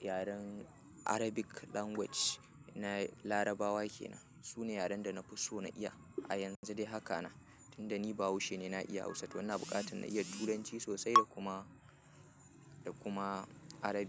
yaren arabic language na larabawa kenan. Su ne yaren da na fi so na iya a yanzu dai haka na. Tunda ni bahaushe ne, na iya Hausa to ina buƙatar na iya Turanci sosai da kuma, da kuma Arabic.